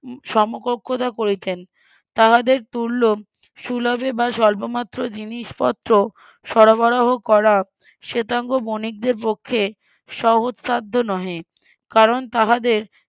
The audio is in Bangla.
সমকক্ষতা করিতেন তাহাদের তুল্য সুলভে বা সল্প মাত্র জিনিসপত্র সরবরাহ করা শ্বেতাঙ্গ বনিকদের পক্ষে সহজসাধ্য নহে কারণ তাহাদের